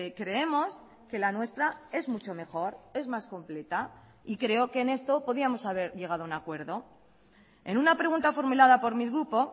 creemos que la nuestra es mucho mejor es más completa y creo que en esto podíamos haber llegado a un acuerdo en una pregunta formulada por mi grupo